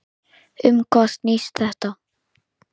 Um hvað snýst þetta?